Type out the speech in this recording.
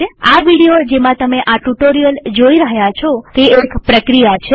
આ વિડીયો જેમાં તમે આ ટ્યુ્ટોરીઅલ જોઈ રહ્યા છો તે એક પ્રક્રિયા છે